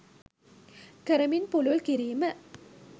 කරමින් පුළුල් කිරීම.